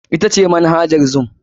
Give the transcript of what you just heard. Ita ce Manhajar zoom ce.